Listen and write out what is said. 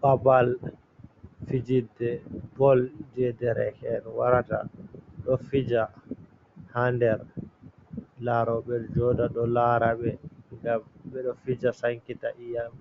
Babal fijirde bol jey dereke'en warata ɗo fija. Haa nder laaroɓe, jooɗa ɗo laara ɓe, ngam ɓe ɗo fija sankita ƴiyam,